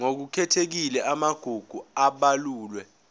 ngokukhethekile amagugu abalulwe